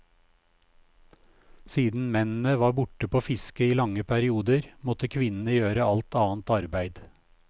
Siden mennene var borte på fiske i lange perioder, måtte kvinnene gjøre alt annet arbeid.